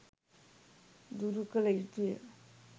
දුරු කළ යුතුය.